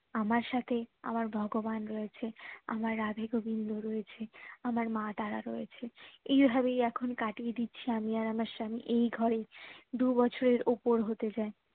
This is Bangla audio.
আমার সাথে আমার ভগবান রয়েছে আমার রাধে গোবিন্দ রয়েছে আমার মাতারা রয়েছে এই ভাবেই এখুন কাটিয়ে দিচ্ছি আমি আর আমার স্বামী এই ঘরেই দু বছরের উপর হতে যায়